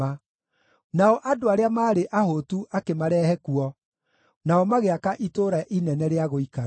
nao andũ arĩa maarĩ ahũtu akĩmarehe kuo, nao magĩaka itũũra inene rĩa gũikara.